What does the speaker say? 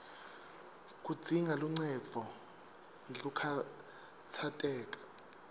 kudzinga luncendvo ngekukhatsateka